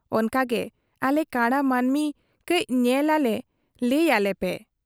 ᱚᱱᱠᱟᱜᱮ ᱟᱞᱮ ᱠᱟᱬᱟ ᱢᱟᱹᱱᱢᱤ ᱠᱟᱹᱡ ᱧᱮᱞ ᱟᱞᱮ ᱞᱟᱹᱭ ᱟᱞᱮᱯᱮ ᱾